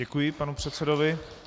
Děkuji panu předsedovi.